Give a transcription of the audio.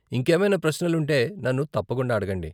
ఇంకేమైనా ప్రశ్నలు ఉంటే నన్ను తప్పకుండా అడగండి.